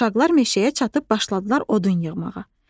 Uşaqlar meşəyə çatıb başladılar odun yığmağa.